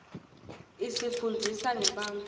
isifunndzisa ngebantfu